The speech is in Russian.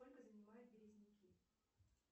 сколько занимают березняки